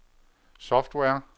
software